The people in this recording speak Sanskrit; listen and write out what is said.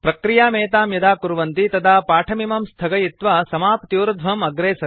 प्रक्रियामेतां यदा कुर्वन्ति तदा पाठमिमं स्थगयित्वा समाप्त्यूर्ध्वम् अग्रे सरन्तु